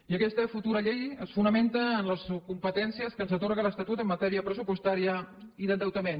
i aquesta futura llei es fonamenta en les competències que ens atorga l’estatut en matèria pressupostària i d’endeutament